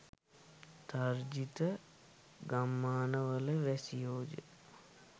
තර්ජිත ගම්මාන වල වැසියෝය.